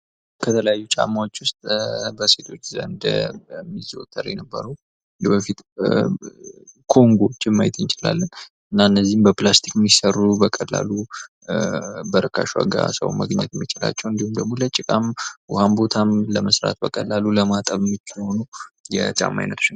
ከተለያዩ ጫማዎች ውስጥ በሴቶች ዘንድ ይዘወተር የነበሩ የበፊት ኮንጎ ጫማዎችን ማየት እንችላለን እነዚህ በፕላስቲክ የሚሰሩ በቀላሉ ሰዎች በርካሽ ዋጋ ማግኘት የሚችላቸው ደግሞ ለጭቃም፥ ውሃም ቦታ ለመስራት በቀላሉ ለማጠብ ምቹ የሆኑ የጫማ አይነቶች ናቸው።